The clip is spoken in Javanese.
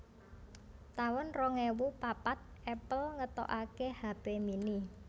taun rong ewu papat Apple ngetokaké hape mini